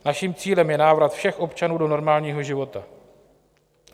Naším cílem je návrat všech občanů do normálního života.